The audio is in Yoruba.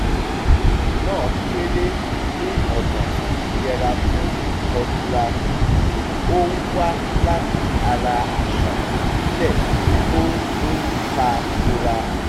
ìṣẹ̀lẹ̀ náà kéré ní ọ̀nà àtiyẹra fún ìkọlura tí ó ń wá láti ara àṣà ìbílẹ̀ tó ń ta kora